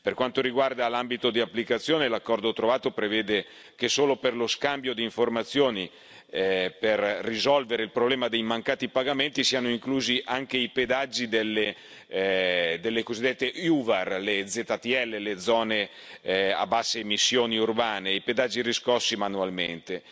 Per quanto riguarda l'ambito di applicazione, l'accordo trovato prevede che solo per lo scambio di informazioni per risolvere il problema dei mancati pagamenti siano inclusi anche i pedaggi delle cosiddette UVAR, le ZTL, le zone a basse emissioni urbane, e i pedaggi riscossi manualmente.